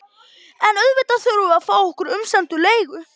En auðvitað þurftum við að fá okkar umsömdu leigu.